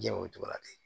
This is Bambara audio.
Diɲɛ o cogo la ten